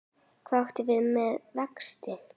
Hvað áttu við með vexti?